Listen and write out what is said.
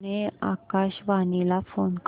पुणे आकाशवाणीला फोन कर